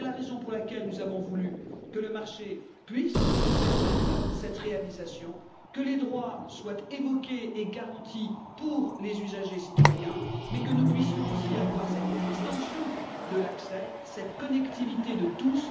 C'est la raison pour laquelle nous avons voulu que le marché puisse permettre cette réalisation, que les droits soient évoqués et garantis pour les usagers citoyens, mais que nous puissions aussi avoir cette extension de l'accès, cette connectivité de tous.